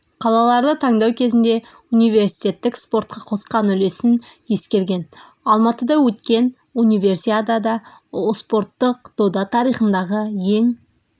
қалаларды таңдау кезінде университеттік спортқа қосқан үлесін ескерген алматыда өткен универсиада спорттық дода тарихындағы ең